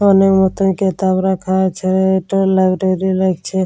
অনেক মতন কেতাব রাখা আছে। এটা লাইব্রেরী লাগছে।